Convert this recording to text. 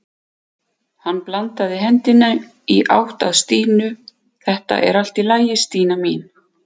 Hann bandaði hendinni í átt að Stínu: Þetta er allt í lagi Stína mín.